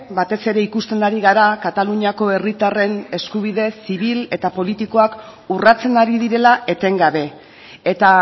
batez ere ikusten ari gara kataluniako herritarren eskubide zibil eta politikoak urratzen ari direla etengabe eta